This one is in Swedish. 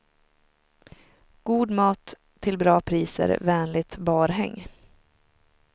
God mat till bra priser, vänligt barhäng.